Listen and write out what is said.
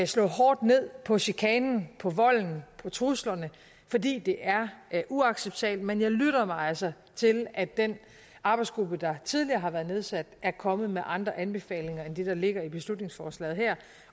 slå hårdt ned på chikanen på volden på truslerne fordi det er er uacceptabelt men jeg lytter mig altså til at den arbejdsgruppe der tidligere har været nedsat er kommet med andre anbefalinger end det der ligger i beslutningsforslaget her